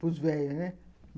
Pros velhos, né?